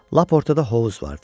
Lap ortada hovuz vardı.